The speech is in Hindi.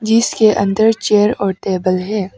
इसके अंदर चेयर और टेबल है।